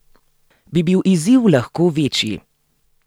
Bi bil izziv lahko večji?